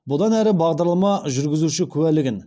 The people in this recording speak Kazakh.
бұдан әрі бағдарлама жүргізуші куәлігін